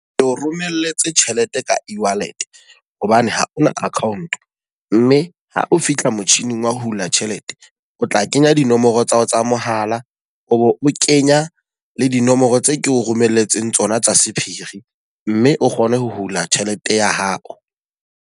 Ke o romelletse tjhelete ka e-wallet hobane haona account. Mme ha o fihla motjhining wa ho hula tjhelete. O tla kenya dinomoro tsa hao tsa mohala, o bo o kenya le dinomoro tse ke o romelletseng tsona tsa sephiri. Mme o kgone ho hula tjhelete ya hao.